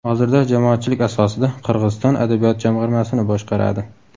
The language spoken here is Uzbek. Hozirda jamoatchilik asosida Qirg‘iziston adabiyot jamg‘armasini boshqaradi.